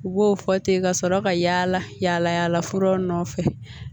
U b'o fɔ ten ka sɔrɔ ka yala yala yalafuraw nɔfɛ